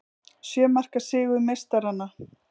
Sjö marka sigur meistaranna